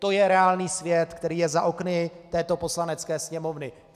To je reálný svět, který je za okny této Poslanecké sněmovny.